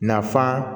Nafan